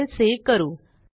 file save करू